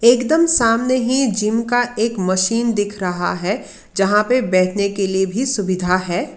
एकदम सामने ही जिम का एक मशीन दिख रहा है जहां पे बैठने के लिए भी सुविधा है।